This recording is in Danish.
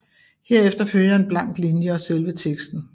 Herefter følger en blank linje og selve teksten